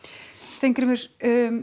Steingrímur